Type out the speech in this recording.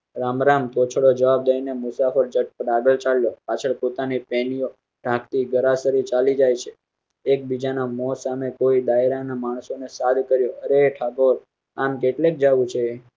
રામ રામ કો છો જવાબ દઈ ને મુસાફર. સાંતી ગરાસ રી ચાલી જાય છે. એકબીજા ના મોં સામે કોઈ ડાયરા ના માણસો ને સારી કરો. રે ઠાકોર આમ કેટલીક જવું છે